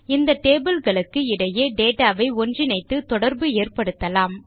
இந்த டேபிள் களுக்கு இடையே டேட்டா வை ஒன்றிணைத்து தொடர்பு ஏற்படுத்தலாம்